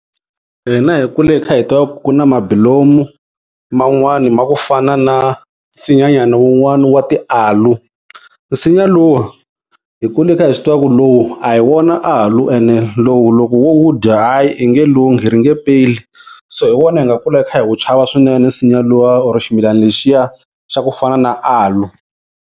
Hina hi kule hi kha hi tiva ku ku na mabulomu man'wana ma ku fana na nsinyanyana wun'wanyana wa ti-Aloe. Nsinya lowu hi kule hi kha hi swi tiva ku lowu a hi wona Aloe, ene lowu loko wu wu dya hayi u nge lunghi ri nge peli so hi wona hi nga kula hi kha hi wu chava swinene, nsinya luwa or ximilana lexiya xa ku fana na Aloe.